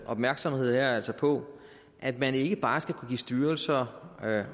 opmærksomhed her er altså på at man ikke bare skal kunne give styrelser